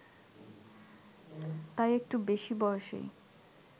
তাই একটু বেশি বয়সেই